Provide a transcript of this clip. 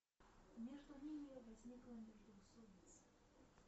между ними возникла междоусобица